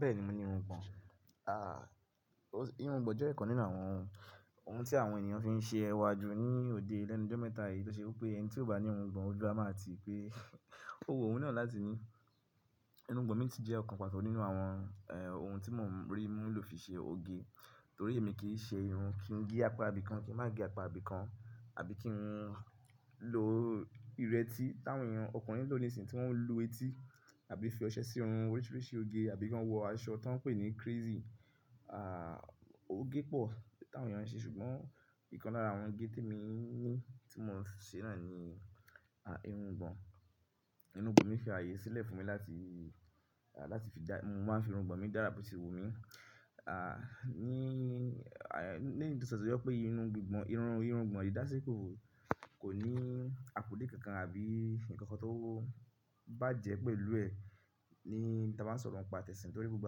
Bẹ́ẹ̀ni mo ní irungbọ̀n. À, irungbọ̀n jẹ́ ẹ̀kan nínú àwọn oun tí àwọn èniyàn fi ń ṣe ẹwà ju ní òde lẹ́nu jọ́ mẹ́ta yìí tó ṣe pé ẹni tí ò bá ní irungbọ̀n ojú a máa ti pé ó wu o wun náà láti ní. Irungbọ̀n mi si jẹ́ ọ̀kan pàto nínú àwọn, en- oun tí mò ń rí mú lò fi ṣe oge. Torí èmi kì í ṣe irun kín gé apá ibìkan, kín má gé apá ibìkan àbí kín lo ìrẹ́tí táwọn ènìyàn ọkùnrin lò ní ìsìn tí wọ́n ń lu etí àbí fi ọṣẹ sí irun oríṣìíríṣìí oge àbí kí wọ́n wọ aṣọ tí wọ́n ń pè ní crazy, à, oge pọ̀ táwọn ènìyàn ń ṣe ṣùgbọ́n ìkan lára àwọn ge tí emi ní tí mò ń ṣe náà ni, à, irungbọ̀n. Irungbọ̀n mi fi ààyè sílẹ̀ fún mi láti, à, láti fi já-- mo máa ń fi irungbọ̀n mi dára boti wu mí. À, ní, nígbà tó ṣe pé irun gbìgbọ̀n, irun, irugbọ̀n yìí dá sí pé kò ní àpónle kankan àbí ǹkan kan tó bá jẹ́ pé lú ẹ ní ta bá ń sọ̀rọ̀ ń pa tẹ̀sìn torí gbogbo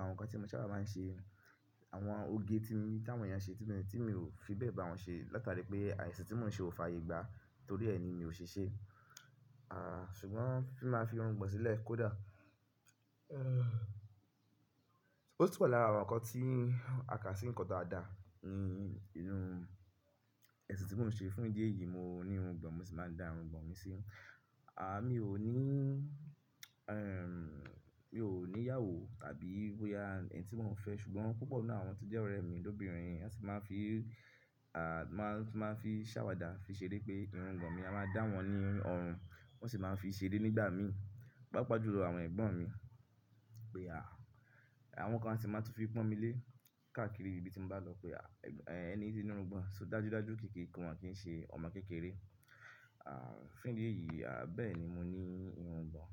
àwọn nǹkan tí mo sábà máa ń ṣe, àwọn oge tí mo, tí àwọn ènìyàn ṣe tí mi, tí mi ò fi bẹ́ẹ̀ bá wọn ṣe látàrí pé ààìsì tí mò ń ṣe ò fàyè gbá. Torí ẹ ni mi ò ṣe ṣe. À, ṣùgbọ́n fi máa fi irun gbọ̀n sílẹ̀ kó dà? Ó tun wa lára àwọn nǹkan tí a kà sí ǹkan daadà ní inú ẹ̀sìn tí mò ń ṣe fún ìdí èyí mo ní irun gbọ̀n, mo sì máa ń da irun gbọ̀n mi sí. À, mi ò ní, ehm, mi ò ní ìyàwó tàbí bóyá ẹni tí mo ń fẹ́ ṣùgbọ́n púpọ̀ nínú àwọn tó jẹ́ ọ̀rẹ́ mi lóbìnrin wọ́n sì máa ń fi, à, máa ń, máa ń fi ṣàwàdà fi ṣeré pé irun gbọ̀n mi a máa dá wọn ní ọ̀run. Wọ́n sì máa ń fi ṣeré nígbà mí, pàápàá jù lọ àwọn ẹ̀gbọ́n mi pé a, àwọn kan sì máa tún fi pọ́n mi lé káàkiri ibi tí mo bá lọ pé a, "Ẹni tí ó ní irun gbọ̀n, so dájú dájú kí kí wọn kì í ṣe ọmọ kékeré." À, fún ìdí èyí, à, bẹ́ẹ̀ ni mo ní irun gbọ̀n.